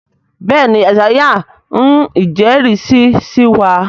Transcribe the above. béèni Isaiah ń ijẹrisi sí wá.